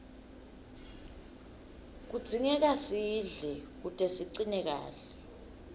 kudzingeka sidle kute sicine kahle